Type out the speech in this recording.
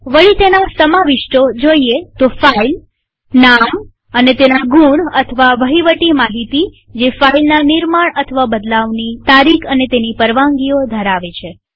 વળી તેના સમાવિષ્ટો જોઈએ તો ફાઈલનામ અને તેના ગુણ અથવા વહીવટી માહિતીજેફાઈલના નિર્માણબદલાવની તારીખ અને તેની પરવાનગીઓ ધરાવે છે